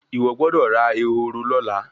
Iwọ gbódò rà Ehoro lọla.